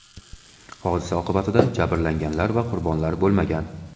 Hodisa oqibatida jabrlanganlar va qurbonlar bo‘lmagan.